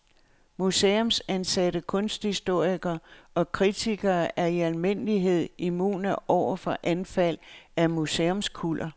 Museumsansatte kunsthistorikere og kritikere er i almindelighed immune over for anfald af museumskuller.